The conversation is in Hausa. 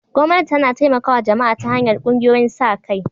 Gwamnati tana taimakawa jama'a ta hanyar ƙungiyoyin sa-kai.